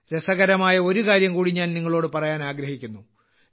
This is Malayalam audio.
രസകരമായ ഒരു കാര്യം കൂടി ഞാൻ നിങ്ങളോട് പറയാൻ ആഗ്രഹിക്കുന്നു